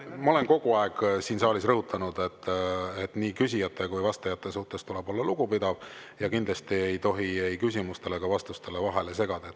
Ma olen kogu aeg siin saalis rõhutanud, et nii küsijate kui vastajate suhtes tuleb olla lugupidav ja kindlasti ei tohi ei küsimustele ega vastustele vahele segada.